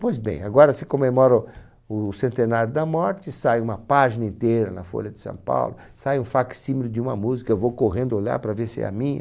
Pois bem, agora você comemora o centenário da morte, sai uma página inteira na Folha de São Paulo, sai um fac-símile de uma música, eu vou correndo olhar para ver se é a minha.